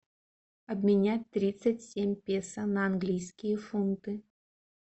обменять тридцать семь песо на английские фунты